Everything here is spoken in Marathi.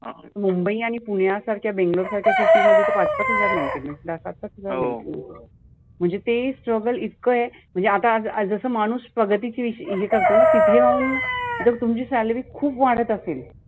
मुंबई आणि पुण्यासारख्या Bangalore सारख्या city मध्ये पाच पाच हजार maintenance जास्त असेल. म्हणजे ते struggle इतक आहे म्हणजे आता जसं माणूस प्रगतीची विष हे करतोना तिथे जाउन जर तुमची salary खुप वाढत असेल.